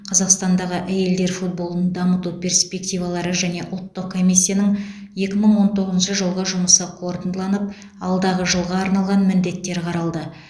қазақстандағы әйелдер футболын дамыту перспективалары және ұлттық комиссияның екі мың он тоғызыншы жылғы жұмысы қорытындыланып алдағы жылға арналған міндеттер қаралды